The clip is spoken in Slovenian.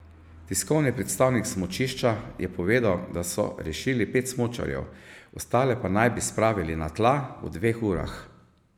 Tiskovni predstavnik smučišča je povedal, da so rešili pet smučarjev, ostale pa naj bi spravili na tla v dveh urah.